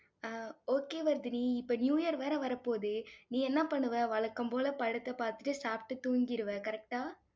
ஆஹ் okay Vardhini, இப்ப new year வேற வரப்போகுது. நீ என்ன பண்ணுவ வழக்கம் போல, படத்த பார்த்திட்டு, சாப்பிட்டு, தூங்கிருவ, correct ஆ?